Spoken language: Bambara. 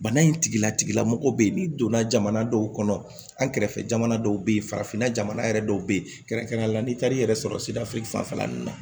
Bana in tigila tigila mɔgɔ bɛ yen n'i donna jamana dɔw kɔnɔ an kɛrɛfɛ jamana dɔw bɛ yen farafinna jamana yɛrɛ dɔw bɛ yen kɛrɛnkɛrɛnnenya la n'i taar'i yɛrɛ sɔrɔ sira fanfɛla ninnu na